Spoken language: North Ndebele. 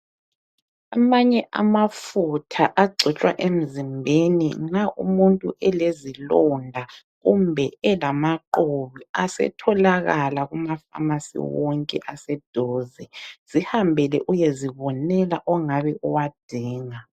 Amanye amafutha agcotshwa emzimbeni nxa umuntu elezilonda kumbe elamaqhubu asetholakala kuma famasi wonke aseduze. Zihambele uyezibonela ongabe uwadinga.